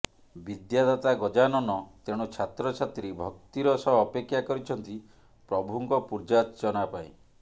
ବିଦ୍ୟା ଦାତା ଗଜାନନ ତେଣୁ ଛାତ୍ର ଛାତ୍ରୀ ଭକ୍ତିର ସହ ଅପେକ୍ଷା କରିଛନ୍ତି ପ୍ରଭୁଙ୍କ ପୂଜାର୍ଚ୍ଚନା ପାଇଁ